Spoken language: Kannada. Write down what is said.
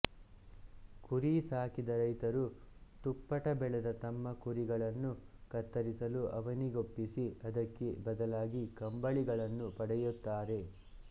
ಕುರಿ ಸಾಕಿದ ರೈತರು ತುಪ್ಪಟ ಬೆಳೆದ ತಮ್ಮ ಕುರಿಗಳನ್ನು ಕತ್ತರಿಸಲು ಅವನಿಗೊಪ್ಪಿಸಿ ಅದಕ್ಕೆ ಬದಲಾಗಿ ಕಂಬಳಿಗಳನ್ನು ಪಡೆಯುತ್ತಾರೆ